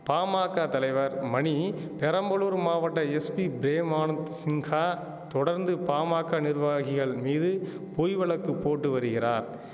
பாமாக்க தலைவர் மணி பெரம்பலூர் மாவட்ட எஸ்பி பிரேம் ஆனந்த் சின்ஹா தொடர்ந்து பாமாக்க நிர்வாகிகள் மீது பொய் வழக்கு போட்டு வருகிறார்